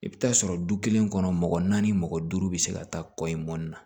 I bɛ taa sɔrɔ du kelen kɔnɔ mɔgɔ naani mɔgɔ duuru bɛ se ka taa kɔɲɔ na